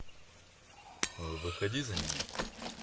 выходи за меня